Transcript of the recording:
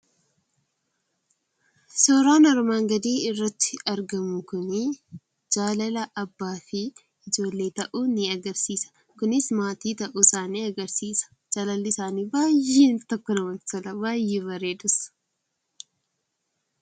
Suuraan armaan gadiirratti argamu kuni jaalala abbaa fi ijoollee ta'uu agarsiisa. Jaalalli isaanii baay'ee namatti tola. Baay'ee bareedas!